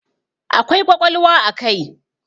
Akwai ƙwaƙwalwa a kai.